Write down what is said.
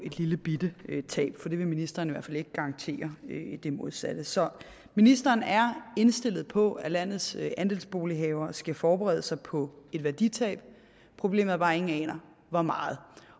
et lillebitte tab for ministeren hvert fald ikke garantere det modsatte så ministeren er indstillet på at landets andelsbolighavere skal forberede sig på et værditab problemet er bare at ingen aner hvor meget